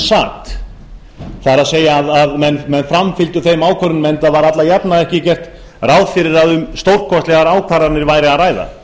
sat það er menn framfylgdu þeim ákvörðunum enda var alla jafna ekki gert ráð fyrir að um stórkostlegar ákvarðanir væri að ræða